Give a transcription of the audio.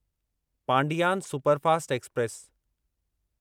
Pandian superfast express